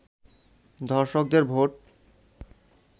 ধর্ষকদের ভোট